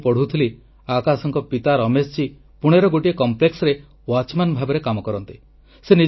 ମୁଁ ପଢୁଥିଲି ଆକାଶଙ୍କ ପିତା ରମେଶଜୀ ପୁଣେର ଗୋଟିଏ ଉଦ୍ୟୋଗରେ ପହରାଦାରWatchman ଭାବରେ କାମ କରନ୍ତି